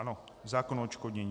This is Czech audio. Ano, zákon o odškodnění.